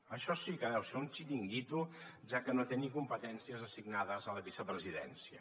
això sí que deu ser un xiringuito ja que no té ni competències assignades a la vicepresidència